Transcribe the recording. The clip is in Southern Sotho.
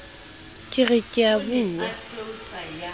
ke re ke a bua